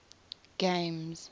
games